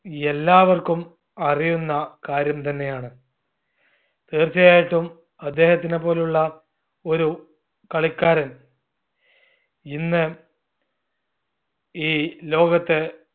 എല്ലാവർക്കും അറിയുന്ന കാര്യം തന്നെയാണ്. തീർച്ചയായിട്ടും അദ്ദേഹത്തിനെപോലുള്ള ഒരു കളിക്കാരൻ ഇന്ന് ഈ ലോകത്ത്